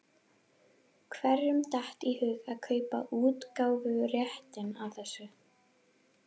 Hverjum datt í hug að kaupa útgáfuréttinn að þessu?